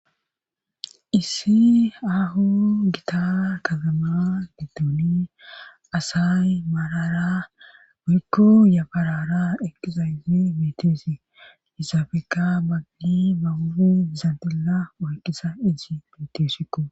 issi aahonne gita katama giddoni asay maalara woyko yafarara eqqiza yyi miteesi hisaafeka baggi bawui zantilla oyqisa iji miteosikko